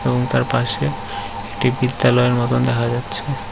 এবং তার পাশে একটি বিদ্যালয়ের মতন দেখা যাচ্ছে।